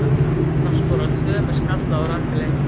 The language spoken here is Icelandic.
Arna skorar tvö með skalla og Rakel eitt.